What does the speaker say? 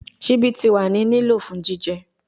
Sibi ti wa ni lilo fun jijẹ